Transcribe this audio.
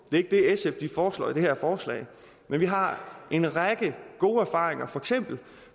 ikke det sf foreslår i det her forslag vi har en række gode erfaringer